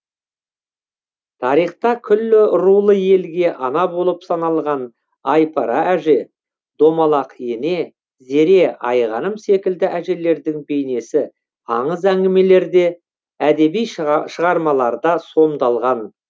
тарихта күллі рулы елге ана болып саналған айпара әже домалақ ене зере айғаным секілді әжелердің бейнесі аңыз әңгімелерде әдеби шығармаларда сомдалған